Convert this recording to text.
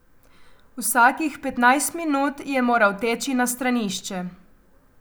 Vsakih petnajst minut je moral teči na stranišče.